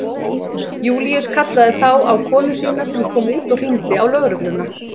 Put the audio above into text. Júlíus kallaði þá á konu sína sem kom út og hringdi á lögregluna.